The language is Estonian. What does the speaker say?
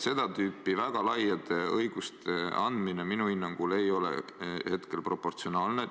Seda tüüpi väga laiade õiguste andmine minu hinnangul ei ole proportsionaalne.